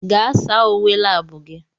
Gaa saa uwe lab gị!